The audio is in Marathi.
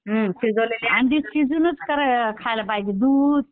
अंडी शिजवूनच खायला पाहिजेत दूध